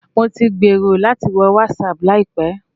Mo ti gbèrò láti wo WhatsApp láìpẹ́